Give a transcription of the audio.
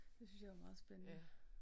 Det synes jeg er meget spændende